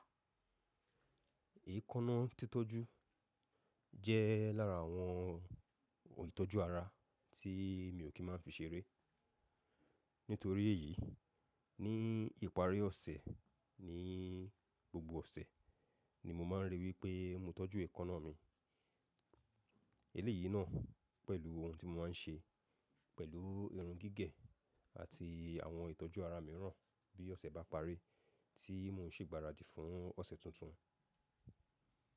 Èékánná títọ́jú jẹ́ lára àwọn ìtọ́jú ara tí mi ò kí má fi ṣere Nítorí èyí, ní ìparí ọ̀sẹ̀ ni gbogbo ọ̀sẹ̀ ni mo máa ń rí wípé mo tọ́jú èékánná mi. Eléyìí náà pẹ̀lú ohun tí mo máa ń ṣe pẹ̀lú irun gígẹ̀ àti àwọn ìtọ́jú ara mìíràn bí ọ̀sẹ̀ bá parí tí mo ń ṣe ìgbáradì fún ọ̀sẹ̀ tuntun.